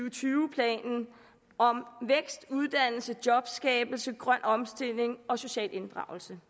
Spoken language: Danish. og tyve planen om vækst uddannelse jobskabelse grøn omstilling og social inddragelse